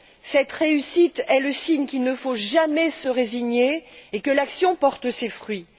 Cette réussite est le signe qu'il ne faut jamais se résigner et que l'action porte ses fruits.